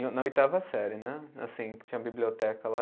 Na oitava série, né, assim que tinha a biblioteca lá.